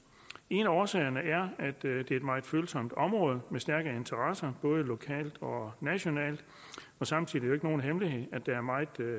en af årsagerne er at det er et meget følsomt område med stærke interesser både lokalt og nationalt og samtidig jo ikke nogen hemmelighed at der er meget